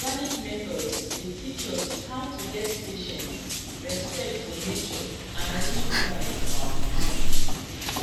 organic methods dey teach us how to get patience respect for nature and real pride for our farming